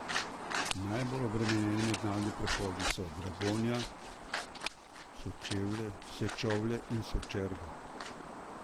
Najbolj obremenjeni mednarodni prehodi so Dragonja, Sečovlje in Sočerga.